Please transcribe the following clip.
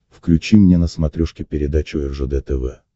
включи мне на смотрешке передачу ржд тв